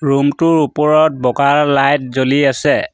Room টোৰ ওপৰত বগা লাইট জ্বলি আছে।